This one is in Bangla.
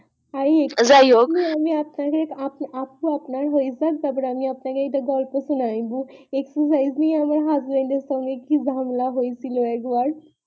যাইহোক আপু আপনার হয়েযায় তারপর আমি আপনাকে গল্প সুনাইবো exercise নিয়ে আমার husband এর সঙ্গে কি ঝামেলা হয়েছিল একবার